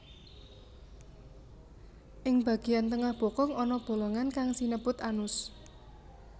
Ing bageyan tengah bokong ana bolongan kang sinebut anus